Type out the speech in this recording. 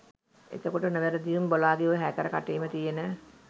එතකොට නොවැරදිවම බොලාගේ ඔය හැකර කටේම තියෙන